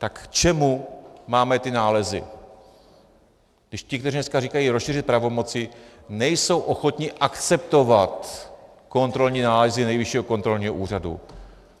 Tak k čemu máme ty nálezy, když ti, kteří dneska říkají rozšířit pravomoci, nejsou ochotni akceptovat kontrolní nálezy Nejvyššího kontrolního úřadu?